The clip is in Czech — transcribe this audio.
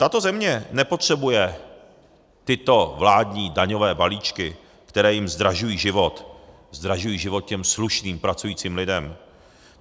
Tato země nepotřebuje tyto vládní daňové balíčky, které jim zdražují život, zdražují život těm slušným pracujícím lidem.